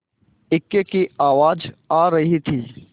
इक्के की आवाज आ रही थी